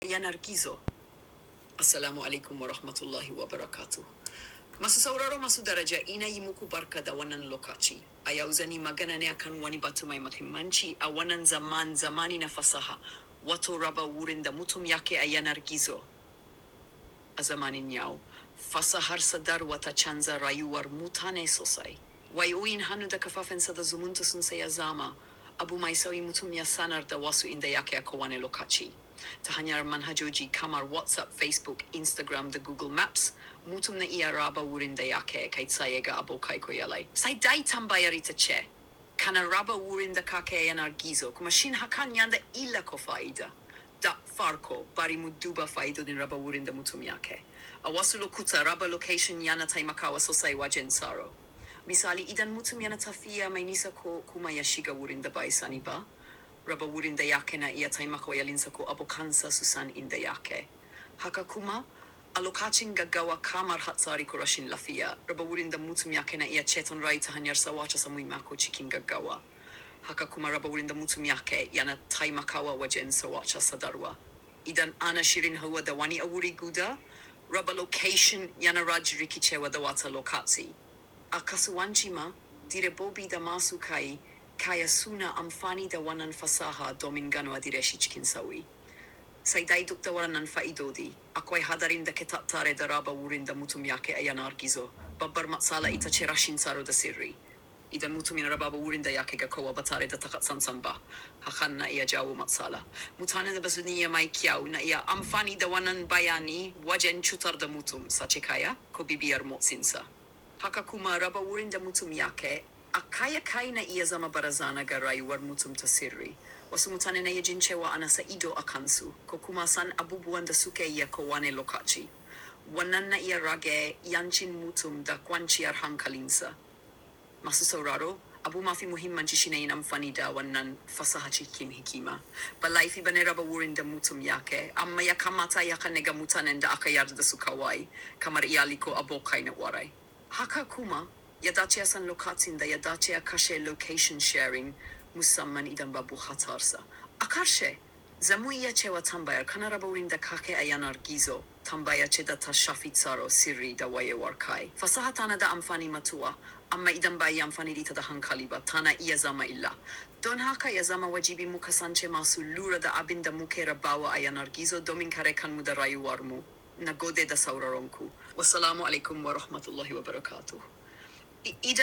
Yanar gizo. Assalamualaikum warahmatullahi wabarakatuh. Masu sauraro masu daraja ina yi muku barka da wannan lokaci. Ayau zani maganane akan wani batu mai muhimmanci a wannan zaman zamanina fasaha wato raba wurin da mutum yake a yanar gizo. A zamanin yau fasahar sadarwa ta canza rayuwar mutane sosai. Wai'o yin hannu da kafafen sada zumunta sun saya zama abu mai sauyi mutum ya sanarda wasu inda yake a ko wane lokaci. Ta hanyar manhajoji kamar WhatsApp, Facebook, Instagram da Google Maps, mutum na iya raba wurin da yake kai tsaye ga abokai ko iyalai. Sai dai tambayar ita ce, kana raba wurin da kake a yanar gizo? Ku mashin hakan yanda illa ko fa'ida. Dak farko bari mu duba fa'idodin raba wurin da mutum yake. A wasu lokuta raba location yana taimakawa sosai wajen tsaro. Misali idan mutum yana tafiya mai nisa ko kuma ya shiga wurin da bai sani ba, raba wurin da yake na iya taimakawa iyalinsa ko abokansa su san inda yake. Haka kuma a lokacin gaggawa kamar hatsari ko rashin lafiya, raba wurin da mutum yake na iya ceton rai ta hanyar sa wata samun makocikin gaggawa. Haka kuma raba wurin da mutum yake yana taimakawa wajen sa wata sadarwa. Idan ana shirin hawa da wani a wuri guda, raba location yana rajirrike ce wa da wata lokaci. A kasuwanci ma direbobi da masu kai kai suna amfani da wannan fasaha domin ganowa direshi cikin sauri. Sai dai duk da wannan fa'idodi akwai hadarin da ke tattare da raba wurin da mutum yake a yanar gizo. Babbar matsala ita ce rashin tsaro da sirri. Idan mutumin raba wurin da yake ga kowa ba tare da taka tsantsan ba, hakan na iya jawo matsala. Mutanen da basu iya mai kyau na iya amfani da wannan bayani wajen cutar da mutum sace kaya ko bibiyar motsinsa. Haka kuma raba wurin da mutum yake a kai kai na iya zama barazana ga rayuwar mutum ta sirri. Wasu mutane na yi jin cewa ana sa ido a kansu ko kuma san abubuwan da suke iya ko wane lokaci. Wannan na iya rage 'yancin mutum da kwanciyar hankalinsa. Masu sauraro, abu mafi muhimmanci shine in amfani da wannan fasaha cikin hikima. Balai fi bane raba wurin da mutum yake amma ya kamata ya hana ga mutanen da aka yarda su kawai kamar iyali ko abokai na kwarai. Haka kuma ya dace a san lokacin da ya dace a kashe location sharing musamman idan babu hatsarsa. A karshe, zamu iya cewa tambayar kana raba wurin da kake aya nargizo tambayar ce ta tashafi tsaro sirri da wayewar kai. Fasaha tana da amfani matu'a amma idan bai yi amfanin ita da hankali ba tana iya zama illa. Don haka ya zama wajibi mu kasance masu lura da abin da muke rabawa a yanar gizo domin kare kanmu da rayuwarmu na gode da sauraronku. Wassalamualaikum warahmatullahi wabarakatuh. I.